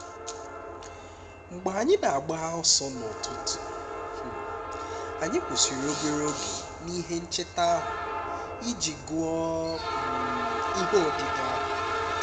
mgbe anyị na-agba ọsọ n’ụtụtụ um anyị kwụsịrị obere oge n’ihe ncheta ahụ iji gụọ um ihe odide ahụ